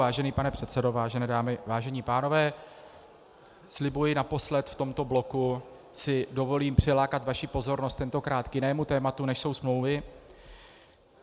Vážený pane předsedo, vážené dámy, vážení pánové, slibuji, naposled v tomto bloku si dovolím přilákat vaši pozornost, tentokrát k jinému tématu, než jsou smlouvy.